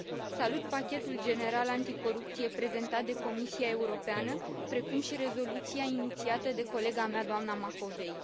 Salut pachetul general anticorupție prezentat de Comisia Europeană, precum și rezoluția inițiată de colega mea, doamna Macovei.